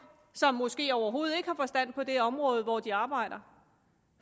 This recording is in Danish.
som måske overhovedet ikke har forstand på det område hvor de arbejder